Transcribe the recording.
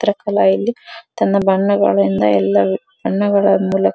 ಇತರ ಕಲಾ ಇಲ್ಲಿ ತನ್ನ ಬಣ್ಣಗಳಿಂದ ಎಲ್ಲ ಬಣ್ಣಗಳ ಮೂಲಕ --